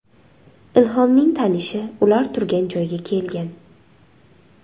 Ilhomning tanishi ular turgan joyga kelgan.